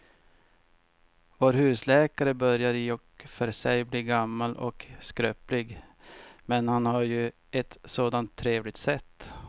Vår husläkare börjar i och för sig bli gammal och skröplig, men han har ju ett sådant trevligt sätt!